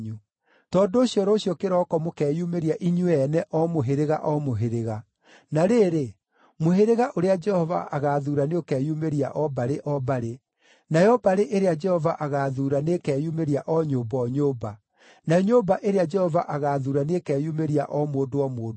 “ ‘Tondũ ũcio rũciũ kĩroko mũkeyumĩria inyuĩ ene o mũhĩrĩga, o mũhĩrĩga. Na rĩrĩ, mũhĩrĩga ũrĩa Jehova agaathuura nĩũkeyumĩria o mbarĩ, o mbarĩ; nayo mbarĩ ĩrĩa Jehova agaathuura nĩĩkeyumĩria o nyũmba, o nyũmba; nayo nyũmba ĩrĩa Jehova agaathuura nĩĩkeyumĩria o mũndũ, o mũndũ.